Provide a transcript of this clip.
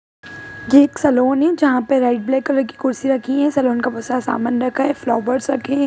ये एक सलून है जहाँ पर रेड ब्लैक कलर की कुर्सी रखी है सलून का बहुत सारा समान रखा है फ्लावर्स रखे है।